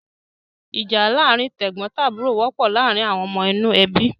Ìjà láàárin tẹ̀gbọ́ntàbúrò wọ́pọ̀ láàárin àwọn ọmọ inú ẹbí.